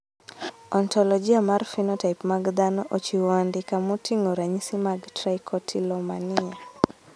Ontologia mar phenotype mag dhano ochiwo andika moting`o ranyisi mag Trichotillomania..